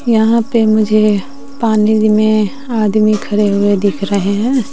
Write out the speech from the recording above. यहां पर मुझे पानी में आदमी खड़े हुए दिख रहे हैं।